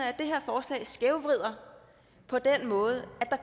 at det her forslag skævvrider på den måde at